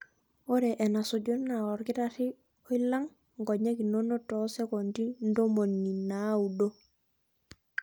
Ore enasuju naa olkitarri oilang' nkonyek inono too sekondi ntomoni naaudo.